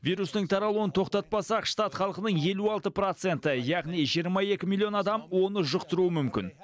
вирустың таралуын тоқтатпасақ штат халқынының елу алты проценті яғни жиырма екі миллион адам оны жұқтыруы мүмкін